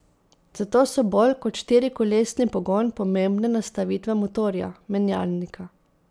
Zato so bolj kot štirikolesni pogon pomembne nastavitve motorja, menjalnika.